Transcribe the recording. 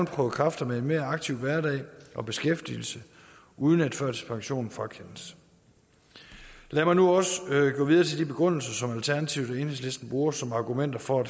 prøve kræfter med en mere aktiv hverdag og beskæftigelse uden at førtidspensionen frakendes lad mig nu også gå videre til de begrundelser som alternativet og enhedslisten bruger som argumenter for at